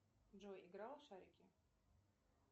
джой играл в шарики